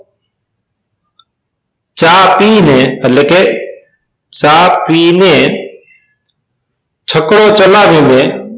ચા પી ને એટલે કે ચા પીને છકડો ચલાવીને